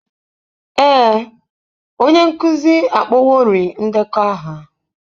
Ee, onye nkuzi akpọworị ndekọ aha.